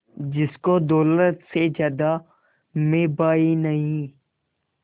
जिसको दौलत से ज्यादा मैं भाई नहीं